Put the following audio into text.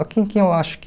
Aqui em que eu acho que